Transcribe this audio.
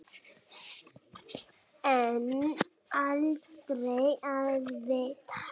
En aldrei að vita.